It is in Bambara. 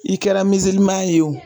I kɛra ye o